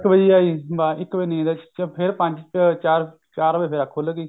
ਵਜੇ ਐ ਜੀ ਇੱਕ ਵਜੇ ਨੀਂਦ ਆਈ ਫੇਰ ਪੰਜ ਚਾਰ ਚਾਰ ਵਜੇ ਅੱਖ ਖੁੱਲ ਗਈ